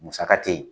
Musaka tɛ ye